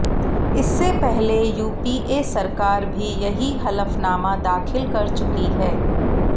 इससे पहले यूपीए सरकार भी यही हलफनामा दाखिल कर चुकी है